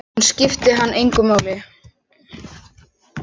Hún skipti hann engu máli.